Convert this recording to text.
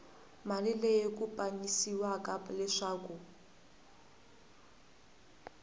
mali leyi ku pimanyisiwaka leswaku